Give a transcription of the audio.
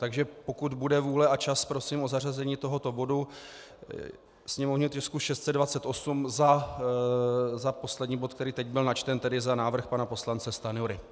Takže pokud bude vůle a čas, prosím o zařazení tohoto bodu, sněmovního tisku 628, za poslední bod, který teď byl načten, tedy za návrh pana poslance Stanjury.